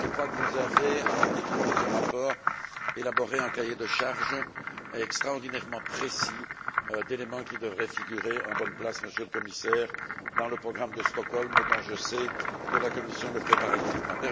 Je crois que vous avez, en écrivant ce rapport, élaboré un cahier de charges extraordinairement précis d'éléments qui devraient figurer en bonne place, Monsieur le Commissaire, dans le programme de Stockholm, dont je sais que la Commission le prépare activement.